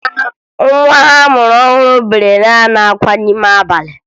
Nwa ha a mụrụ ọhụrụ bere naanị akwa n'ime abalị